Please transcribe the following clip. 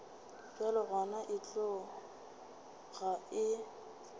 bjalo gona e tloga e